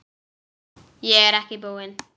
Ég er ekki búinn.